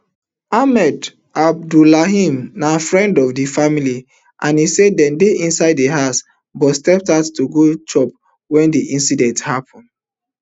ahmad abdullahi na friend of di family and e say dem dey inside di house but step out to go chop wen di incident happun